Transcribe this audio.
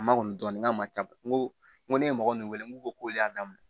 A ma kɔni dɔɔni n'a ma ca n ko n ko ne ye mɔgɔ min wele n ko kolon y'a daminɛ